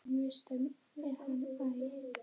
Það þótti okkur ekki slæmt.